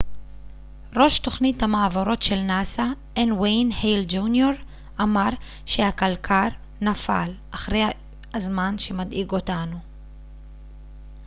ראש תוכנית המעבורות של נאס א נ' וויין הייל ג'וניור אמר שהקלקר נפל אחרי הזמן שמדאיג אותנו